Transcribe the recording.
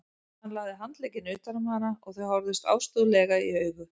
Hann lagði handlegginn utan um hana og þau horfðust ástúðlega í augu.